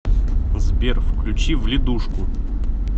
сбер включи вледушку